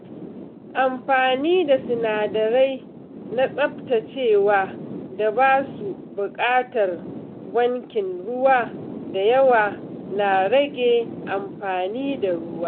Amfani da sinadarai na tsaftacewa da ba su buƙatar wankin ruwa da yawa na rage amfani da ruwa.